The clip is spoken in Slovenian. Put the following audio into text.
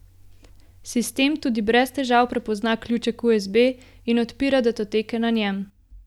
Sistem tudi brez težav prepozna ključek usb in odpira datoteke na njem.